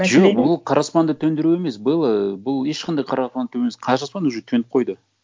жоқ ол қара аспанды төндіру емес белла бұл ешқандай қара қара аспан уже төніп қойды